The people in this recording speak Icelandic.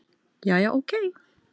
Jæja, ókei.